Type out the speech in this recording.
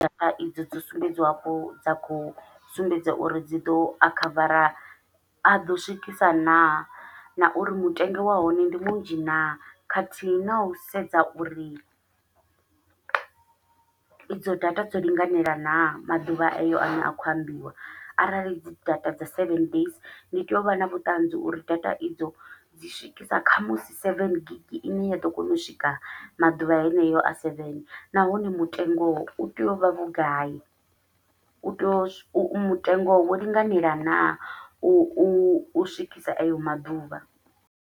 Idzo dzo sumbedziwa hafho dza khou sumbedza uri dzi ḓo a khavara aḓo swikisa na, na uri mutengo wa hone ndi munzhi na khathihi nau sedza uri idzo data dzo linganela na maḓuvha ayo ane a khou ambiwa, arali dzi data dza seven days ndi tea uvha na vhuṱanzi uri data idzo dzi swikisa khamusi seven gig ine ya ḓo kona u swika maḓuvha heneyo a seven nahone mutengo utea uvha vhugai, utea u mutengo wo linganela na u swikisa ayo maḓuvha.